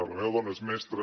la meva dona és mestra